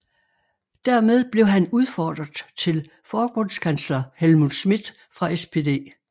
Dermed blev han udfordrer til Forbundskansler Helmut Schmidt fra SPD